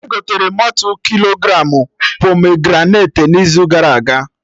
Egotere motu kilogramụ pomegranate n'izu gara aga